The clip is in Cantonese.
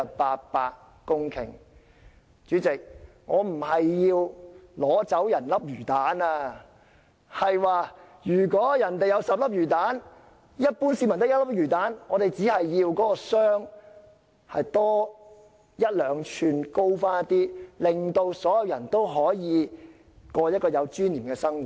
代理主席，我並非要取走別人的魚蛋，我只是說，如果人家有10粒魚蛋，而一般市民只有1粒，我們只希望那個箱子可以再高一兩吋，令所有人都可以過有尊嚴的生活。